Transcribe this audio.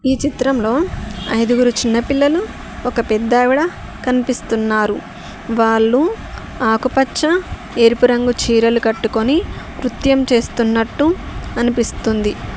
ఈ చిత్రంలో ఐదుగురు చిన్న పిల్లలు ఒక పెద్ద ఆవిడ కనిపిస్తున్నారు వాళ్లు ఆకుపచ్చ ఎరుపు రంగు చీరలు కట్టుకొని నృత్యం చేస్తున్నట్టు అనిపిస్తుంది.